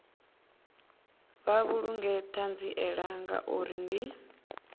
vha vhulunge ṱhanziela ngauri ndi